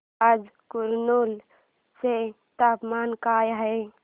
आज कुरनूल चे तापमान काय आहे